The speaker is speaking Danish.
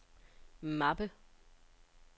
mappe